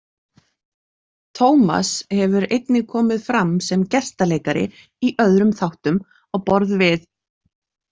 Tómas hefur einnig komið fram sem gestaleikari í öðrum þáttum á borð við.